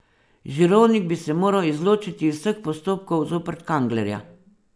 Žirovnik bi se moral izločiti iz vseh postopkov zoper Kanglerja.